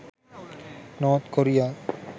north korea